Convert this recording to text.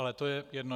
Ale to je jedno.